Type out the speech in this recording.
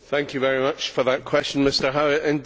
Thank you very much for that question, Mr Howitt.